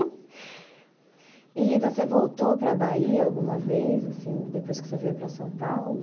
E, Rita, você voltou para a Bahia alguma vez, assim, depois que você veio para São Paulo?